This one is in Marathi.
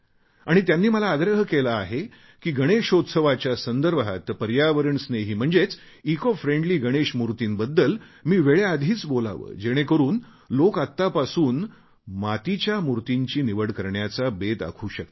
आणि त्यांनी मला आग्रह केला आहे की गणेशोत्सवाच्या संदर्भात पर्यावरणस्नेही म्हणजेच इकोफ्रेंडली गणेशामूर्तींबद्दल मी वेळेआधीच बोलावे जेणेकरून लोक आतापासूनच मातीच्या मूर्तीची निवड करण्याचा बेत आखू शकतील